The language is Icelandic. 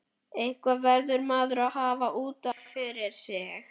Eitthvað verður maður að hafa út af fyrir sig.